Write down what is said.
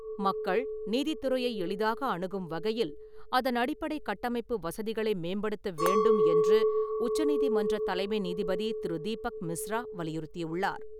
மக்கள் நீதித்துறையை எளிதாக அணுகும் வகையில் அதன் அடிப்படை கட்டமைப்பு வசதிகளை மேம்படுத்த வேண்டும் என்று உச்சநீதிமன்ற தலைமை நீதிபதி திரு. தீபக் மிஸ்ரா வலியுறுத்தியுள்ளார்.